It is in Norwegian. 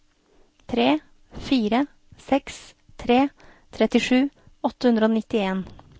tre fire seks tre trettisju åtte hundre og nittien